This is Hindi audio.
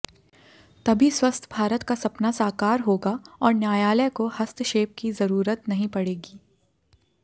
तभी स्वस्थ भारत का सपना साकार होगा और न्यायालय को हस्तक्षेप की ज़रूरत नहीं पड़ेगी